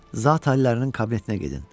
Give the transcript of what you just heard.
Zat aliyələrinin kabinetinə gedin.